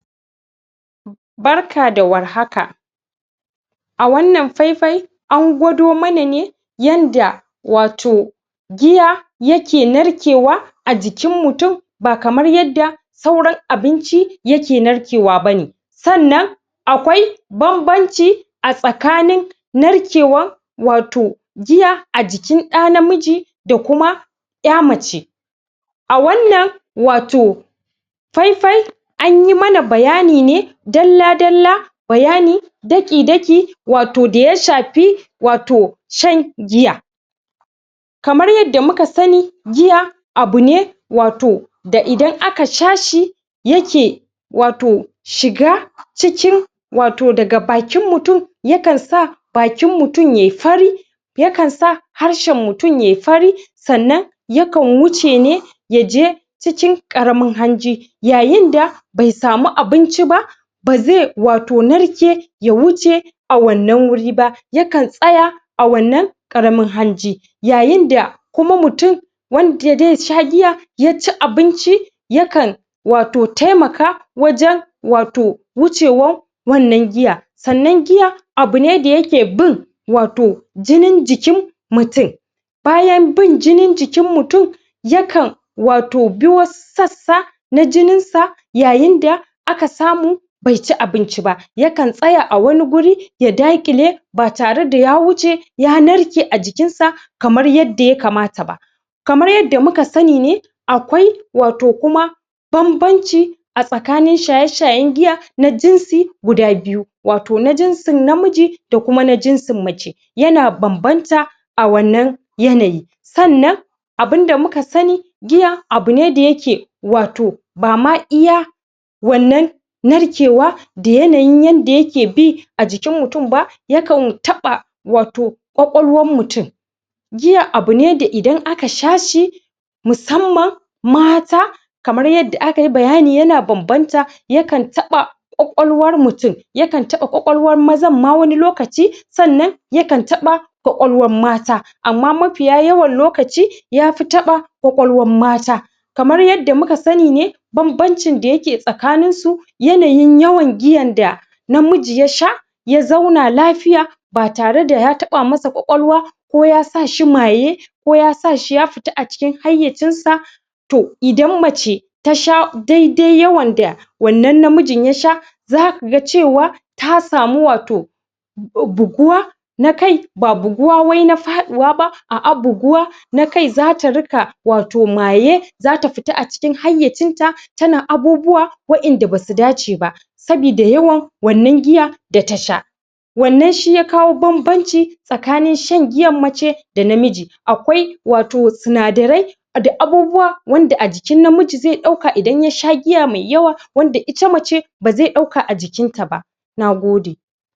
Barka da warhaka a wannan faifai an gwado mana ne yadda wato giya yake narkewa a jikin mutum ba kamar yadda sauran abinci yake narkewa ba ne sannan akwai banbanci a tsakanin narkewan wato giya a jikin ɗan namiji da jikin a mace a wannan wato faifai anyi mana bayani ne dalla-dalla bayani daki-daki wato da ya shafi wato shan giya kamar yadda muka sani giya wato abune wato da idan aka sha shi yake wato shiga cikin wato daga bakin mutum yakan sa bakin mutum yai fari yakan sa harshen mutum yai fari sannan yakan wuce ne cikin ƙaramin hanji yayin da bai samu abinci ba da zai wato narke ya wuce a wannan wuri ba yakan tsaya a wannan ƙaramin hanji yayin da kuma mutum wanda zai sha giya ya ci abinci yakan wato taimaka wato wajen wato wucewar wannan giya, sannan giya abu ne wanda yake bi wato jinin jikin wato mutum. Bayan bin kamar yadda akai bayani yana banbantan yakan taɓa ƙwaƙwalwan mutum yakan taɓa ƙwaƙwalwar mazan ma wani lokaci sannan yakan taɓa ƙwaƙwalwar mata amma mafiya yawan lokaci ya fi taɓa ƙwaƙwalwar mata kamar yadda muka sani ne banbancin da yake